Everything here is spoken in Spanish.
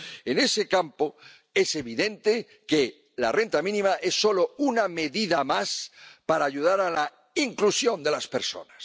En ese campo, es evidente que la renta mínima es solo una medida más para ayudar a la inclusión de las personas.